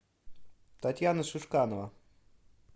татьяна шишканова